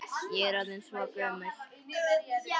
Ég er orðin svo gömul.